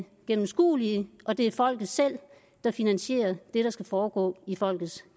gennemskuelige og det folket selv der finansierer det der skal foregå i folkets